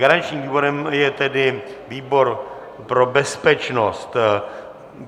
Garančním výborem je tedy výbor pro bezpečnost.